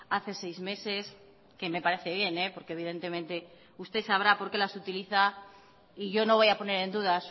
hace seis meses que me parece bien porque evidentemente usted sabrá por qué las utiliza y yo no voy a poner en duda